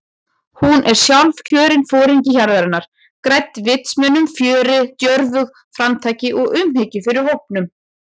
Hún er sjálfkjörinn foringi hjarðarinnar- gædd vitsmunum, fjöri, djörfung, framtaki og umhyggju fyrir hópnum.